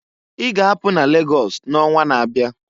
I ga-apụ n'Lagọs n'onwa n'abịa!"